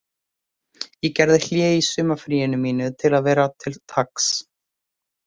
Ég gerði hlé á sumarfríinu mínu til að vera til taks